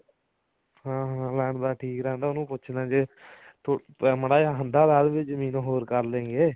ਹਾਂ ਹਾਂ ਲਾਣੇਦਾਰ ਠੀਕ ਰਹਿੰਦਾ ਉਹਨੂੰ ਪੁੱਛਦਾ ਜੇ ਮਾੜਾ ਜਾ ਹੰਦਾ ਲਾ ਦੇਵੇ ਜਮੀਨ ਹੋਰ ਕਰਲੇਂਗੇ